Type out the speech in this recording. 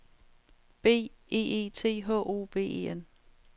B E E T H O V E N